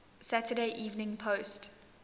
saturday evening post